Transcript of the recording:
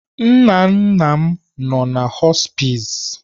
Nnanna m nno na họspịz.